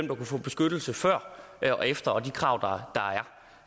kunne få beskyttelse før og efter og de krav der